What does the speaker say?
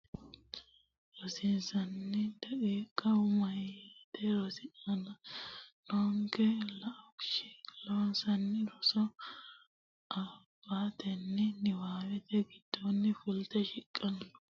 rosiisatenni daqiiqa Meyate rosi aana nooke laooshshi Loossinanni soorro abbatenni Niwaawete giddonni fulte shiqqino Meyati rossanno woyte xamuwa daftari nera borreessitine jawaachishatenni xawishshunninna giraafetenni woratenni uytanno dawaro gara ikkase dawarre.